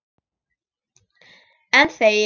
Enn þegi ég.